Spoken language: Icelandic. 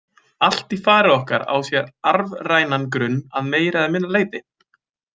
Allt í fari okkar á sér arfrænan grunn að meira eða minna leyti.